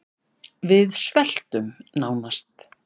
Við sveltum nánast